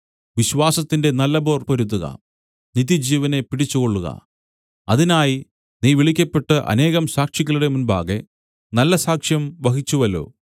വിശ്വാസത്തിന്റെ നല്ല പോർ പൊരുതുക നിത്യജീവനെ പിടിച്ചുകൊള്ളുക അതിനായി നീ വിളിക്കപ്പെട്ട് അനേകം സാക്ഷികളുടെ മുമ്പാകെ നല്ല സാക്ഷ്യം വഹിച്ചുവല്ലോ